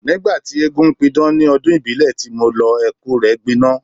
Nígbà tí eégún ń pidán níbi ọdún ìbílẹ̀ tí mo lọ, ẹkú rẹ gbiná.